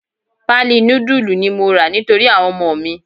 Pali nudulu ni mo ra nítorí àwọn ọmọ mi.